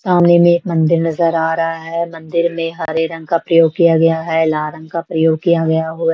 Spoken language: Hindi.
सामने में मंदिर नजर आ रहा है मंदिर में हरे रंग का प्रयोग किया गया है लाल रंग का प्रयोग किया गया हुआ--